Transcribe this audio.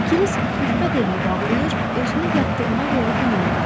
Krisk xiffət eləyib ağlayır, özünü yatdığına görə qınayırdı.